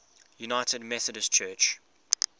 united methodist church